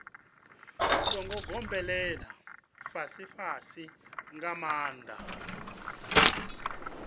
songo gobelela fhasifhasi nga maanḓa